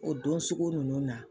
O don sugu ninnu na.